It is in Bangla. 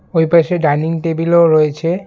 ওই পাশে ডাইনিং টেবিলও রয়েছে।